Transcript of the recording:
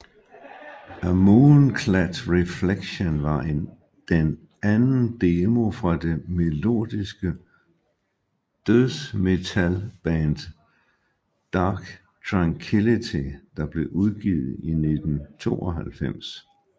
A Moonclad Reflection var den anden demo fra det melodiske dødsmetalband Dark Tranquillity der blev udgivet i 1992